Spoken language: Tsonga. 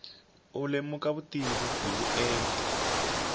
u lemuka vutivi hi vuenti